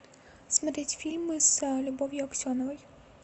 смотреть фильмы с любовью аксеновой